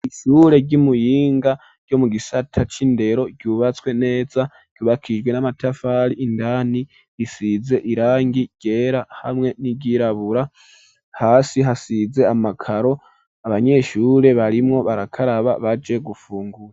Ishure ry'imuyinga ryo mu gisata c'indero ryubatswe neza ryubakijwe n'amatafari indani risize irangi ryera hamwe n'iryirabura hasi hasize amakaro abanyeshure barimwo barakaraba baje gufungura.